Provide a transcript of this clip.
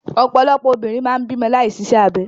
Ọ̀pọ̀lọpọ̀ obìnrin máa ń bímọ láì ṣiṣẹ́ abẹ.